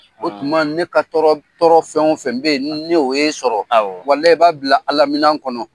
O tuma ne ka tɔɔrɔ tɔɔrɔ fɛn o fɛn be yen n'o ye sɔrɔ, walayi i b'a bila Ala minɛn kɔnɔ.